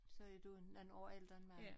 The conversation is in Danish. Så er du en nogen år ældre end mig